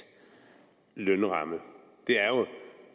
lønramme